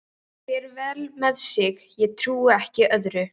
Fer vel með sig, ég trúi ekki öðru.